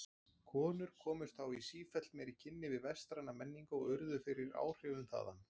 Konur komust þá í sífellt meiri kynni við vestræna menningu og urðu fyrir áhrifum þaðan.